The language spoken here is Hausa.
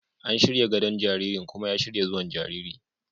An shirya gadon jaririn kuma ya shirya zuwan jariri.